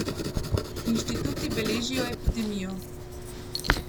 Inštituti beležijo epidemijo.